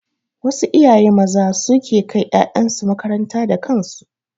Wasu iyaye maza su suke kai ƴaƴansu makaranta da kansu.